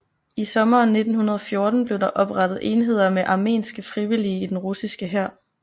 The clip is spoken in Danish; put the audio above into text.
I sommeren 1914 blev der oprettet enheder med armenske frivillige i den russiske hær